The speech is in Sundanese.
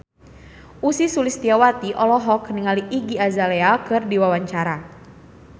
Ussy Sulistyawati olohok ningali Iggy Azalea keur diwawancara